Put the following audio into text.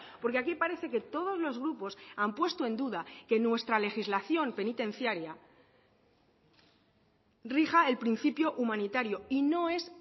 porque aquí parece que todos los grupos han puesto en duda que nuestra legislación penitenciaria rija el principio humanitario y no es